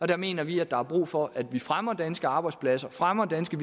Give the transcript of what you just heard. der mener vi at der er brug for at vi fremmer danske arbejdspladser fremmer danske